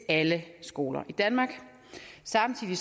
alle skoler i danmark samtidig